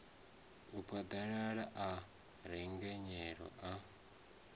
a phaḓaladza a rengenyela a